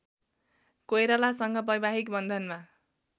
कोइरालासँग वैवाहिक बन्धनमा